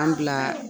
An bila